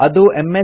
ಅದು ಎಮ್